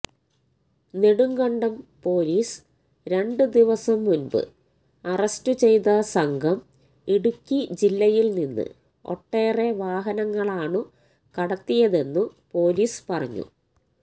Nedumkandam police രണ്ടു ദിവസം മുൻപ് അറസ്റ്റു ചെയ്ത സംഘം ഇടുക്കി ജില്ലയിൽനിന്ന് ഒട്ടേറെ വാഹനങ്ങളാണു കടത്തിയതെന്നു പൊലീസ് പറഞ്ഞു